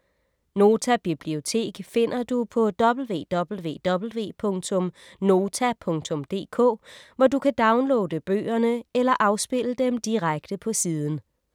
Nota Bibliotek finder du på www.nota.dk, hvor du kan downloade bøgerne eller afspille dem direkte på siden.